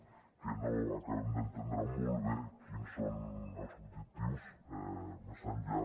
que no acabem d’entendre molt bé quins són els objectius més enllà